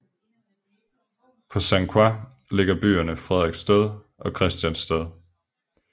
På Sankt Croix ligger byerne Frederiksted og Christiansted